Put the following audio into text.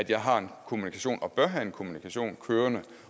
jeg har en kommunikation og bør have en kommunikation kørende